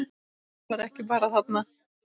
Hann var ekki bara þarna.